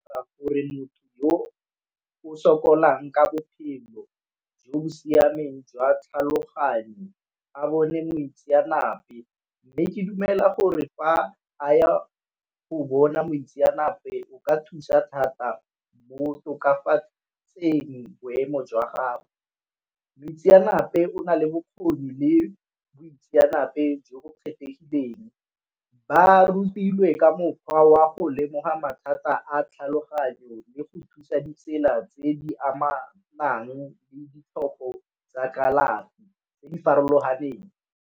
Gore motho yo o sokolang ka bophelo jo bo siameng jwa tlhaloganyo a bone moitseanape, mme ke dumela gore fa a ya go bona moitseanape o ka thusa thata mo go tokafatseng boemo jwa gagwe. Boitseanape o na le bokgoni le boitseanape jo bo kgethegileng. Ba rutilwe ka mokgwa wa go lemoga mathata a tlhaloganyo le go thusa ditsela tse di amanang le ditlhoko tsa kalafi tse di farologaneng.